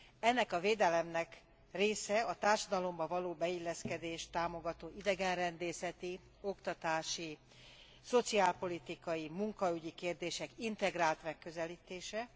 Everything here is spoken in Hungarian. Ennek a védelemnek része a társadalomba való beilleszkedést támogató idegenrendészeti, oktatási, szociálpolitikai, munkaügyi kérdések integrált megközelítése.